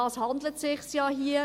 Darum handelt es sich hier;